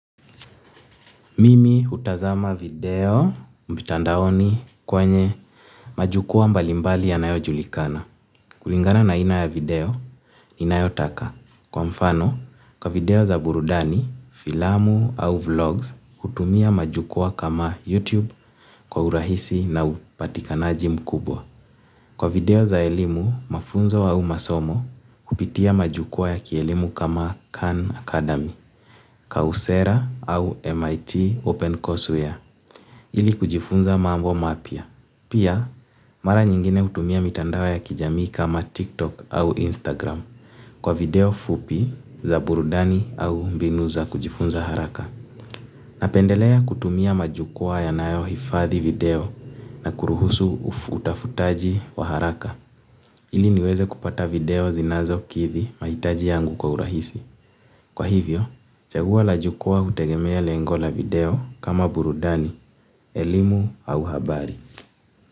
Mimi hutazama video mitandaoni kwenye majukwaa mbalimbali yanayo julikana. Kulingana na aina ya video ninayotaka. Kwa mfano, kwa video za burudani, filamu au vlogs, hutumia majukwaa kama YouTube kwa urahisi na upatikanaji mkubwa. Kwa video za elimu, mafunzo au masomo, kupitia majukwaa ya kielimu kama Khan Academy, kausera au MIT Open Course Ware. Ili kujifunza mambo mapya. Pia, mara nyingine hutumia mitandao ya kijamii kama TikTok au Instagram kwa video fupi za burudani au mbinu za kujifunza haraka. Napendelea kutumia majukwaa yanayo hifadhi video na kuruhusu utafutaji wa haraka. Ili niweze kupata video zinazokidhi mahitaji yangu kwa urahisi. Kwa hivyo, chaguo la jukuwaa hutegemea lengo la video kama burudani, elimu au habari.